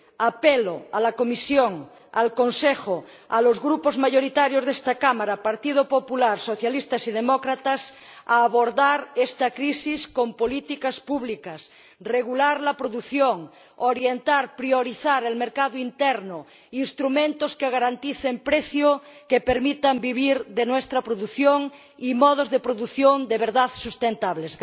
Apelo a la Comisión, al Consejo, a los Grupos mayoritarios de esta Cámara, Partido Popular, Socialistas y Demócratas, a abordar esta crisis con políticas públicas, regular la producción, orientar, priorizar el mercado interno, proponer instrumentos que garanticen el precio y que nos permitan vivir de nuestra producción, y apoyar modos de producción de verdad sustentables.